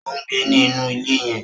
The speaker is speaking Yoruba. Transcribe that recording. O ngbé ni inú ilé yen